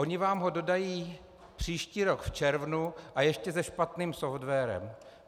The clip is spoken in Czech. Oni vám ho dodají příští rok v červnu a ještě se špatným softwarem.